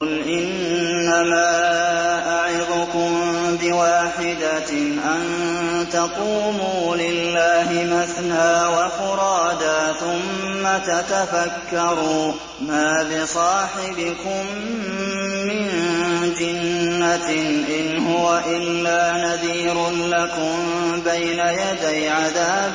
۞ قُلْ إِنَّمَا أَعِظُكُم بِوَاحِدَةٍ ۖ أَن تَقُومُوا لِلَّهِ مَثْنَىٰ وَفُرَادَىٰ ثُمَّ تَتَفَكَّرُوا ۚ مَا بِصَاحِبِكُم مِّن جِنَّةٍ ۚ إِنْ هُوَ إِلَّا نَذِيرٌ لَّكُم بَيْنَ يَدَيْ عَذَابٍ